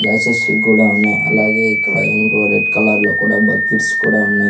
జాసేశ్విక్ గూడా ఉన్నాయి అలాగే ఇక్కడ ఏంటివో రెడ్ కలర్ లో కూడా బక్కెట్స్ కూడా ఉన్నాయి.